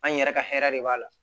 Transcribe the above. An yɛrɛ ka hɛrɛ de b'a la